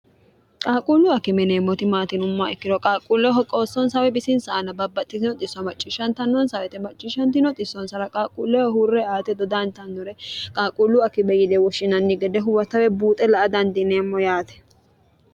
qaaquulluu akime yineemmoti maati yinumma ikkiro qaalquulleho ho qoossoonsaawi bisinsa aana babbaxxiinoisso macciishshntnnoonsa wete macciishshntnoissoonsara qaaqquulleeho huurre aate dodaantannore qaalquulluu akime yide woshshinanni gede huwata woyi buuxe la a dandineemmo yaate